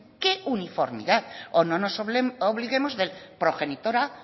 qué uniformidad o no nos olvidemos del progenitor a